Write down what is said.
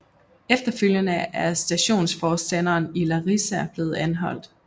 Efterfølgende er stationsforstanderen i Larisa blevet anholdt